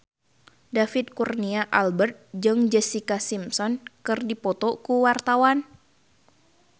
David Kurnia Albert jeung Jessica Simpson keur dipoto ku wartawan